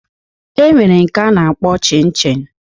E nwere nke a na-akpọ Chin Chin